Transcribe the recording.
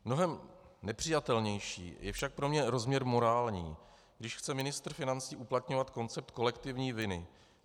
Mnohem nepřijatelnější je však pro mě rozměr morální, když chce ministr financí uplatňovat koncept kolektivní viny.